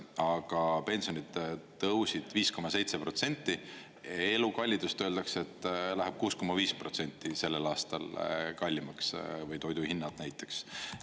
Aga pensionid tõusid 5,7% ja elukallidust öeldakse, et läheb 6,5% sellel aastal kallimaks, toiduhinnad näiteks.